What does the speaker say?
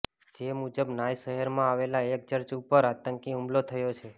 જે મુજબ નાઇસ શહેરમાં આવેલા એક ચર્ચ ઉપર આતંકી હુમલો થયો છે